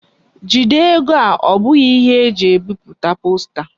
Jide ego a! O bughi ihe anyi ji ebiputa posta.